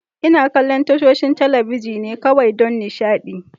Ina kallon tashoshin talabijin ne kawai don nishaɗi.